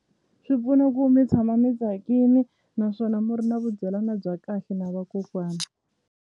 Swi pfuna ku mi tshama mi tsakini naswona miri na vudyelana bya kahle na vakokwana.